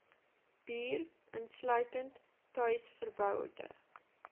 bier insluitend tuisverboude